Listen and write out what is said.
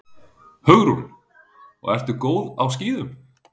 Hugrún: Og ertu góð á skíðum?